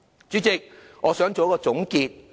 主席，我想作出總結。